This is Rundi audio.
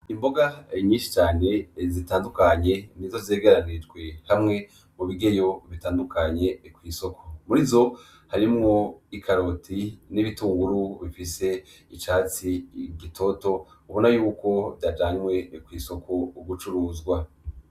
Imboga nyinshi cane zitandukanye nizo zegeranirijwe hamwe mu bigeyo bitandukanye kw'isoko, muri zo harimwo ikaroti n'ibitunguru bifise icatsi gitoto ubona y’uko vyajanwe kw'isoko gucuruzwa.